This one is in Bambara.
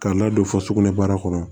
K'a ladon fo sugunɛ bara kɔnɔ